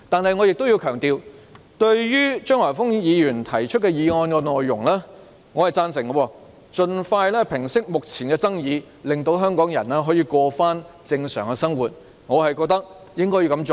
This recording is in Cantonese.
不過，我想強調，對於張華峰議員提出的議案內容，我是贊成的，即要盡快平息目前的爭議，令香港人可以回復正常生活，我認為是應該這樣做的。